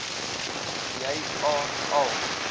jy aan al